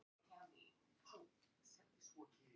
Þú sérð það allt þar.